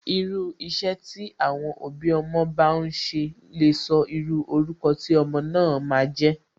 Irú iṣẹ́ tí àwọn òbí ọmọ bá n ṣe lè sọ irú orúkọ tí ọmọ náà ma a jẹ́.